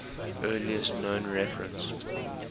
earliest known reference